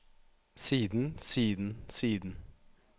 siden siden siden